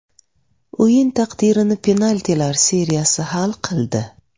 O‘yin taqdirini penaltilar seriyasi hal qildi.